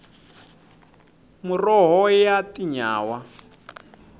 muroho ya tinyawa